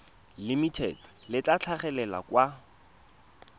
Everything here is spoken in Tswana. limited le tla tlhagelela kwa